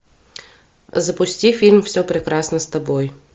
запусти фильм все прекрасно с тобой